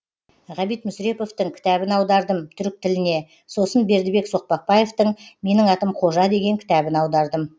ғабит мүсіреповтің кітабын аудардым түрік тіліне сосын бердібек соқпақбаевтың менің атым қожа деген кітабын аудардым